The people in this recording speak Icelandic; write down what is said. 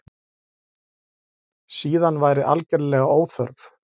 Síðan væri algerlega óþörf